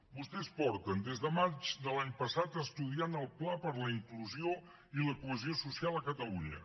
vostès des de maig de l’any passat estudien el pla per a la inclusió i la cohesió social a catalunya